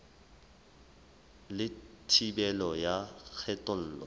le thibelo ya kgethollo e